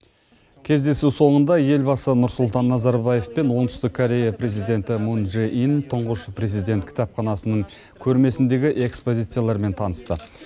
кездесу соңында елбасы нұрсұлтан назарбаев пен оңтүстік корея президенті мун чжэ ин тұңғыш президент кітапханасының көрмесіндегі экспозициялармен танысты